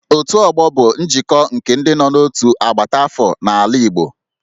Otu ọgbọ bụ njikọ nke ndị nọ n'otu agbata afọ n'ala Igbo